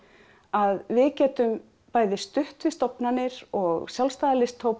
að við getum bæði stutt við stofnanir og sjálfstæða